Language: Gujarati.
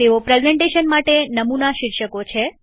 તેઓ પ્રેઝન્ટેશન માટે નમુના શીર્ષકો છે